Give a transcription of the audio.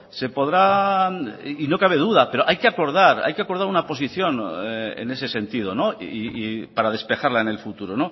no cabe duda pero hay que acordar una posición en ese sentido para despejarla en el futuro